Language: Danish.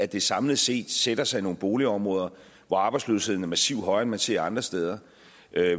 det samlet set sætter sig i nogle boligområder hvor arbejdsløsheden er massivt højere end man ser andre steder